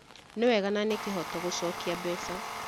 Nĩ wega na nĩ kĩhoto gũcokia mbeca